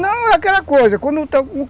Não, é aquela coisa